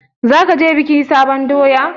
Zaka je bikin sabon doya?